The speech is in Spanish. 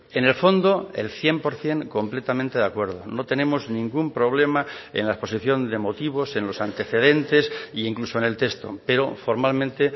en el fondo el cien por ciento completamente de acuerdo no tenemos ningún problema en la exposición de motivos en los antecedentes e incluso en el texto pero formalmente